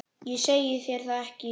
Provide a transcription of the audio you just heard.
Ég segi þér það ekki.